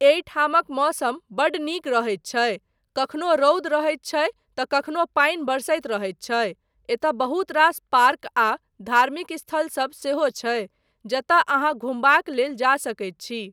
एहिठामक मौसम बड्ड नीक रहैत छै, कखनो रौद रहैत छै तँ कखनो पानि बरसैत रहैत छै , एतय बहुत रास पार्क आ धार्मिक स्थलसब सेहो छै जतय अहाँ घुमबाक लेल जा सकैत छी।